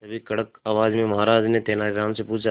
तभी कड़क आवाज में महाराज ने तेनालीराम से पूछा